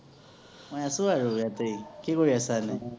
মই আছো আৰু ইয়াতেই৷ কি কৰি আছা এনেই